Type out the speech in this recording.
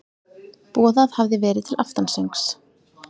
Boðað hafði verið til aftansöngs.